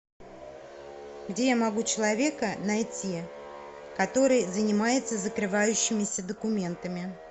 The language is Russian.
где я могу человека найти который занимается закрывающимися документами